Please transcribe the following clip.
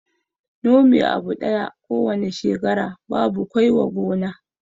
Nome abu ɗaya ko wane shekara babu kwai wa gona